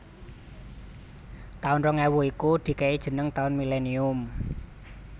Taun rong ewu kui dikei jeneng taun millenium